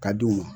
Ka d'u ma